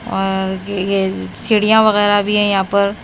और यह चिड़ियां वगैरह भी है यहां पर--